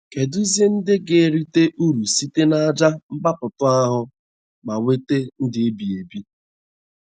Kedụzi ndị ga - erite ụrụ site n’àjà mgbapụta ahụ ma nweta ndụ ebighị ebi?